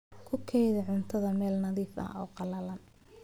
Ku kaydi cuntada meel nadiif ah oo qallalan.